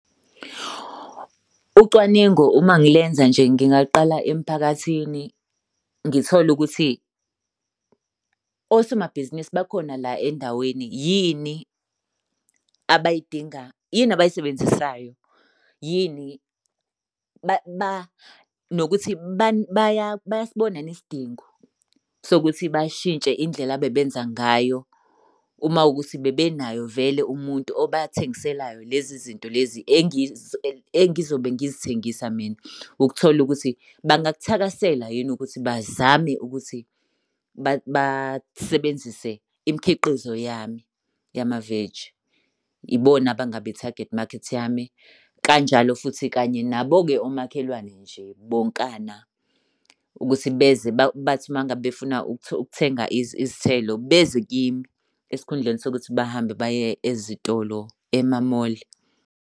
Ucwaningo uma ngilenza nje ngingaqala emphakathini ngithole ukuthi osomabhizinisi bakhona la endaweni yini abayidinga, yini abayisebenzisayo. Yini nokuthi bayasibona yini isidingo sokuthi bashintshe indlela ebebenza ngayo uma kuwukuthi bebenayo vele umuntu obathengiselayo lezi zinto lezi engizobe ngizithengisa mina. Ukuthola ukuthi bangakuthakasela yini ukuthi bazame ukuthi basebenzise imikhiqizo yami yama-veggie. Ibona abangaba i-target market yami. Kanjalo futhi kanye nabo-ke omakhelwane nje bonkana ukuthi beze bathi uma ngabe befuna ukuthenga izithelo beze kimi esikhundleni sokuthi bahambe baye ezitolo ema-mall.